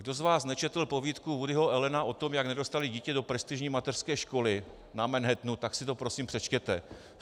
Kdo z vás nečetl povídku Woodyho Allena o tom, jak nedostali dítě do prestižní mateřské školy na Manhattanu, tak si to prosím přečtěte.